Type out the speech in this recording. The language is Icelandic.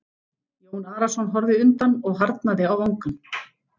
Jón Arason horfði undan og harðnaði á vangann.